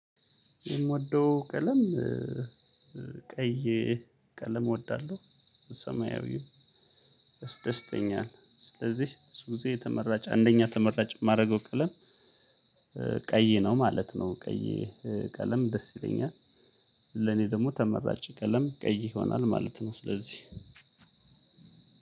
የምወደው ቀለም ቀይ ቀለም እወዳለሁ ሰማያዊም ያስደስተኛል ስለዚህ ብዙ ጊዜተመራጭ አንደኛ ተመራጭ የማረገው ቀለም ቀይ ነው ማለት ነው። ቀይ ቀለም ደስ ይለኛል ለኔ ደግሞ ተመራጭ ቀለም ቀይ ይሆናል ማለት ነው። ስለዚህ